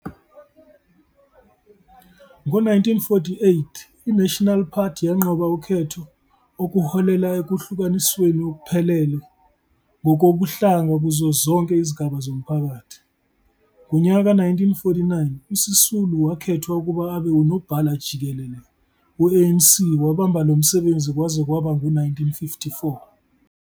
Ngo-1948 i-Nasional Party yanqoba ukhetho okuholela ekuhlukanisweni okuphelele ngokobuhlanga kuzo zonke izigaba zomphakathi. Ngonyaka ka-1949 uSisulu wakhethwa ukuba abe unobhala-jikelele we-ANC wabamba lomsebenzi kwaze kwaba ngu-1954.